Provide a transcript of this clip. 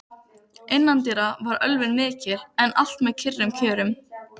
Innandyra var ölvun mikil, en allt með kyrrum kjörum.